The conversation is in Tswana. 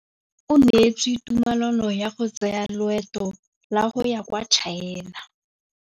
O neetswe tumalanô ya go tsaya loetô la go ya kwa China.